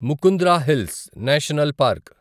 Mukundra hills national park